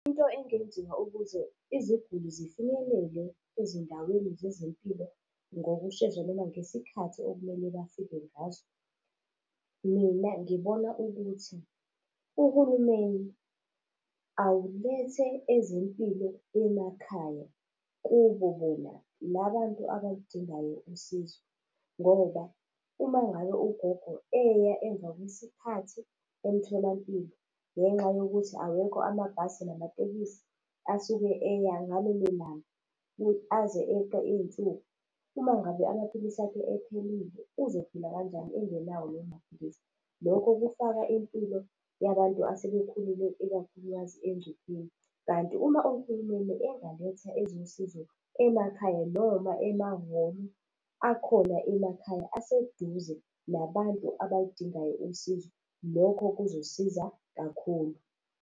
Into engenziwa ukuze iziguli zifinyelele ezindaweni zezempilo ngokushesha noma ngesikhathi okumele bafike ngazo. Mina ngibona ukuthi uhulumeni awulethe ezempilo emakhaya kubo bona labantu abaludingayo usizo, ngoba uma ngabe ugogo eya emva kwesikhathi emtholampilo ngenxa yokuthi awekho amabhasi namatekisi asuke eya ngalelo langa ukuthi aze eqe iy'nsuku. Uma ngabe amaphilisi akhe ephelile uzophila kanjani engenawo lawo maphilisi. Lokho kufaka impilo yabantu asebekhulile ikakhulukazi engcupheni. Kanti uma uhulumeni engaletha ezosizo emakhaya noma emahholo akhona emakhaya aseduze nabantu abayidingayo usizo, lokho kuzosiza kakhulu.